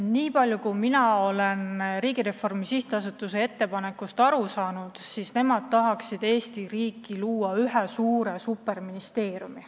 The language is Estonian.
Nii palju kui mina olen Riigireformi Sihtasutuse ettepanekust aru saanud, nemad tahaksid Eesti riigis luua ühe suure superministeeriumi.